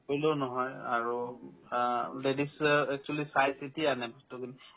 নকৰিলেও নহয় আৰু আহ্ ladies য়ে actually চাইচিতি আনে বস্তুবোৰ